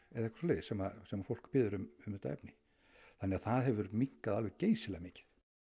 sem sem fólk biður um þetta efni þannig það hefur minnkað geysilega mikið